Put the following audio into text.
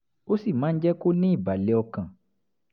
ó sì máa ń jẹ́ kó ní ìbàlẹ̀ ọkàn